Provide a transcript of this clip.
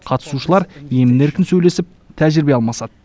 қатысушылар емін еркін сөйлесіп тәжірибе алмасады